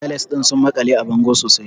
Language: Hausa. Tiles ɗin sun makale a bango sosai.